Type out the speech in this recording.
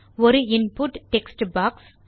ஒரு input text box